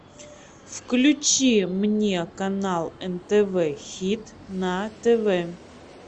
включи мне канал нтв хит на тв